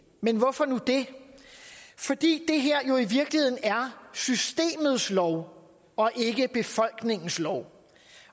men hvorfor nu det fordi det her jo i virkeligheden er systemets lov og ikke befolkningens lov